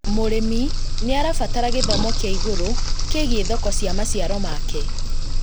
Mũrimũ nĩarabatara gĩthomo kĩa igũrũ kĩgiĩ thoko cia maciaro make